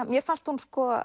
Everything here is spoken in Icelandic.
mér fannst hún